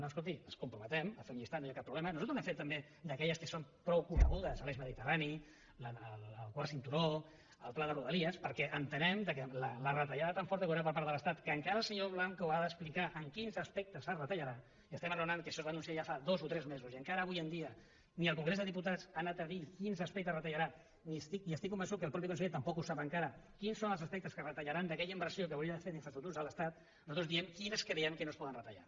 no escolti ens comprometem a fer un llistat no hi ha cap problema nosaltres n’hem fet també d’aquelles que són prou conegudes l’eix mediterrani el quart cinturó el pla de rodalies perquè entenem que la retallada tant forta que hi haurà per part de l’estat que encara el senyor blanco ha d’explicar en quins aspectes es retallarà i estem parlant que això es va anunciar ja fa dos o tres mesos i encara avui dia ni al congrés de diputats ha anat a dir quins aspectes retallarà i estic convençut que el mateix conseller tampoc sap encara quins són els aspectes que retallaran d’aquella inversió que s’hauria de fer d’infraestructures de l’estat nosaltres diem quines creiem que no es poden retallar